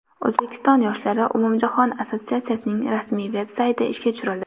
O‘zbekiston yoshlari umumjahon assotsiatsiyasining rasmiy veb-sayti ishga tushirildi.